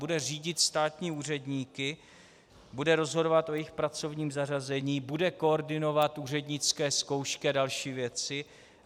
Bude řídit státní úředníky, bude rozhodovat o jejich pracovním zařazení, bude koordinovat úřednické zkoušky a další věci.